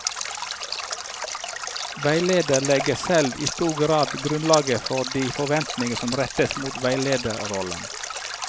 Veileder legger selv i stor grad grunnlaget for de forventninger som rettes mot veilederrollen.